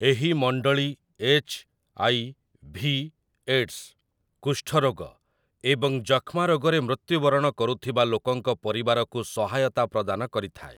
ଏହି ମଣ୍ଡଳୀ HIV. AIDS, କୁଷ୍ଠ ରୋଗ ଏବଂ ଯକ୍ଷ୍ମାରୋଗରେ ମୃତ୍ୟୁବରଣ କରୁଥିବା ଲୋକଙ୍କ ପରିବାରକୁ ସହାୟତା ପ୍ରଦାନ କରିଥାଏ।